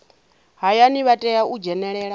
hayani vha tea u dzhenelela